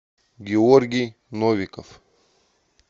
георгий новиков